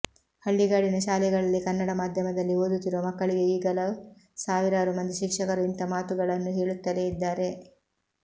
ಹಳ್ಳಿಗಾಡಿನ ಶಾಲೆಗಳಲ್ಲಿ ಕನ್ನಡ ಮಾಧ್ಯಮದಲ್ಲಿ ಓದುತ್ತಿರುವ ಮಕ್ಕಳಿಗೆ ಈಗಲೂ ಸಾವಿರಾರು ಮಂದಿ ಶಿಕ್ಷಕರು ಇಂಥ ಮಾತುಗಳನ್ನು ಹೇಳುತ್ತಲೇ ಇದ್ದಾರೆ